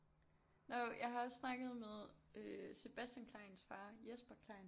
Nå jo jeg har også snakket med Sebastian Kleins far Jesper Klein